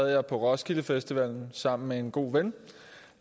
jeg på roskilde festival sammen med en god ven